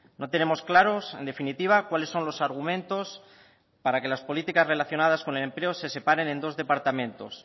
no tenemos claros en definitiva cuáles son los argumentos para que las políticas relacionadas con el empleo se separen en dos departamentos